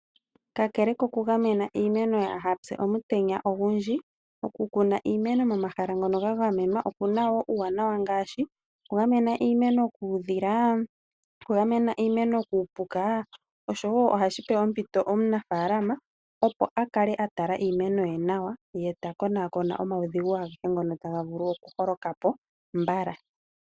Kakele kokugamena iimeno yaaha pye omutenya ogundji, oku kuna iimeno momahala ngongo ga gamenwa oku na wo uuwanawa ngaashi okugamena iimeno kuudhila, okugamena iimeno kuupuka oshowo ohashi pe omunafaalama ompito, opo a kale a tala iimeno ye nawa ye ta konaakona omaudhigu agehe ngono taga vulu okuholoka po mbala.